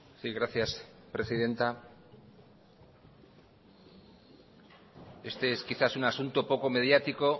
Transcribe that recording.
sí gracias presidenta este es quizás un asunto poco mediático